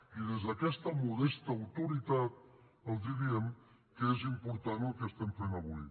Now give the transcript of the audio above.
i des d’aquesta modesta autoritat els diem que és important el que estem fent avui